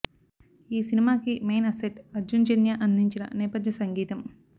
ఈ సినిమాకి main asset Arjun Janya అందించిన నేపధ్య సంగీతం